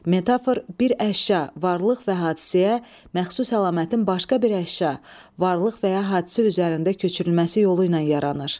Metafor bir əşya, varlıq və hadisəyə məxsus əlamətin başqa bir əşya, varlıq və ya hadisə üzərində köçürülməsi yolu ilə yaranır.